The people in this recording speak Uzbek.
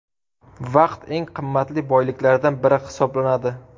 Vaqt eng qimmatli boyliklardan biri hisoblanadi.